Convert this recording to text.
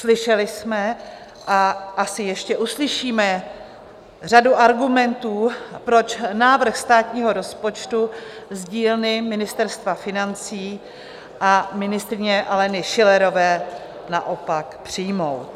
Slyšeli jsme a asi ještě uslyšíme řadu argumentů, proč návrh státního rozpočtu z dílny Ministerstva financí a ministryně Aleny Schillerové naopak přijmout.